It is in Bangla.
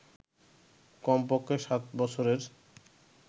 কম পক্ষে সাত বছরের